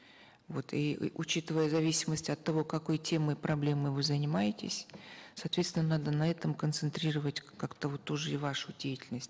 вот и учитывая в зависимости от того какой темой проблемой вы занимаетесь соответственно надо на этом концентрировать как то вот уже и вашу деятельность